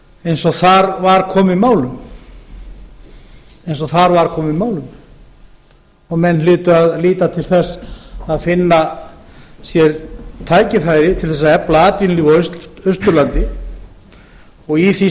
eins og þar var komið málum menn hlytu að líta til þess að finna sér tækifæri til að efla atvinnulíf á austurlandi í því